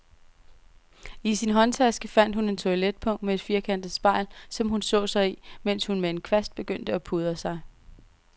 I sin håndtaske fandt hun et toiletpung med et firkantet spejl, som hun så sig i, mens hun med en kvast begyndte at pudre sig.